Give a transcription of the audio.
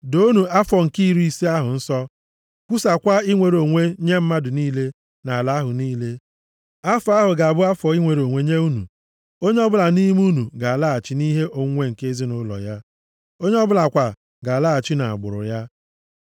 Doonụ afọ nke iri ise ahụ nsọ, kwusaakwa inwere onwe nye mmadụ niile nʼala ahụ niile. Afọ ahụ ga-abụ afọ inwere onwe + 25:10 Inwere onwe pụtara mmeri maọbụ Jubili. nye unu. Onye ọbụla nʼime unu ga-alaghachi nʼihe onwunwe nke ezinaụlọ ya, onye ọbụla kwa ga-alaghachi nʼagbụrụ ya.